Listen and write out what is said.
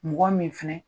Mɔgɔ min fɛnɛ